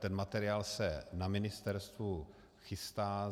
Ten materiál se na ministerstvu chystá.